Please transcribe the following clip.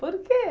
Por quê?